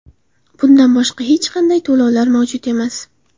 Bundan boshqa hech qanday to‘lovlar mavjud emas.